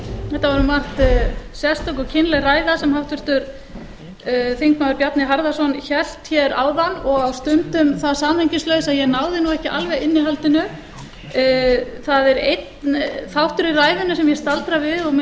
var um margt sérstök og kynleg ræða sem háttvirtur þingmaður bjarni harðarson hélt hér áðan og á stundum það samhengislaus að ég náði nú ekki alveg innihaldinu það er einn þáttur í ræðunni sem ég staldraði við og